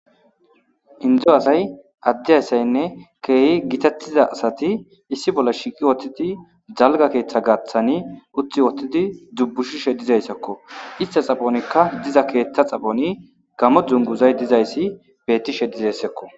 Indo asay, adde asay keehi bonchettida asati issi bolla shiiqi uttidi keehi dalga keeththa gaathan uttidi wottidi dubbushishe dizaysasako istada keetha xaphoni gaammo dunguzay beettishe dizaysako.